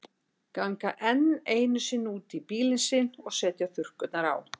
Ganga enn einu sinni út í bílinn sinn og setja þurrkurnar á.